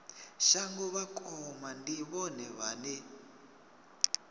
shango vhakoma ndi vhone vhane